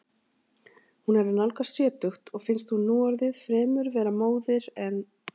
Hún er að nálgast sjötugt og finnst hún núorðið fremur vera móðir en.